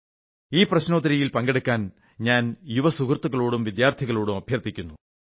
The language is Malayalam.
ഈ പ്രശ്നോത്തരിയിൽ പങ്കെടുക്കാൻ ഞാൻ യുവ സുഹൃത്തുക്കളോടും വിദ്യാർത്ഥികളോടും അഭ്യർഥിക്കുന്നു